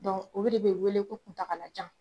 o de be weele ko kuntagalajan.